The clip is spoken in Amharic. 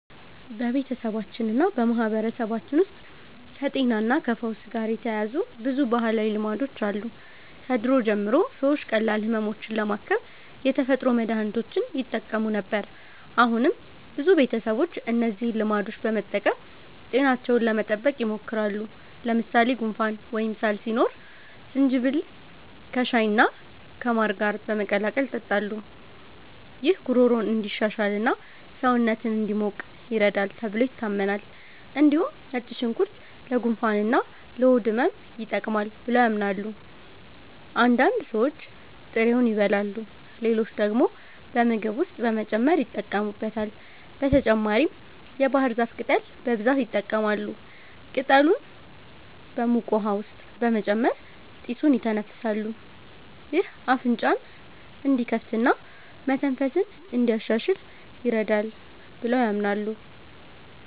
በቤተሰባችንና በማህበረሰባችን ውስጥ ከጤናና ከፈውስ ጋር የተያያዙ ብዙ ባህላዊ ልማዶች አሉ። ከድሮ ጀምሮ ሰዎች ቀላል ህመሞችን ለማከም የተፈጥሮ መድሀኒቶችን ይጠቀሙ ነበር። አሁንም ብዙ ቤተሰቦች እነዚህን ልማዶች በመጠቀም ጤናቸውን ለመጠበቅ ይሞክራሉ። ለምሳሌ ጉንፋን ወይም ሳል ሲኖር ዝንጅብል ከሻይና ከማር ጋር በመቀላቀል ይጠጣሉ። ይህ ጉሮሮን እንዲሻሽልና ሰውነትን እንዲሞቅ ይረዳል ተብሎ ይታመናል። እንዲሁም ነጭ ሽንኩርት ለጉንፋንና ለሆድ ህመም ይጠቅማል ብለው ያምናሉ። አንዳንድ ሰዎች ጥሬውን ይበላሉ፣ ሌሎች ደግሞ በምግብ ውስጥ በመጨመር ይጠቀሙበታል። በተጨማሪም የባህር ዛፍ ቅጠል በብዛት ይጠቀማሉ። ቅጠሉን በሙቅ ውሃ ውስጥ በመጨመር ጢሱን ይተነፍሳሉ። ይህ አፍንጫን እንዲከፍትና መተንፈስን እንዲያሻሽል ይረዳል ብለው ያምናሉ።